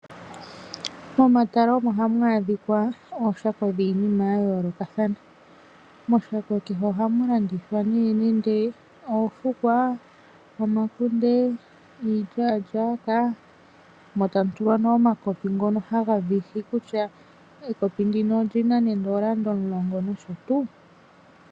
Momatala omo hamu adhikwa ooshako dhiinima ya yoolokathana. Moshaka kehe ohamu landithwa nee nande oofukwa, omakunde, iilyalyaka motamutulwa nee omakopi ngoka haga viha kutya ekopi ngino olyina nande eelanda omulongo nosho tuu.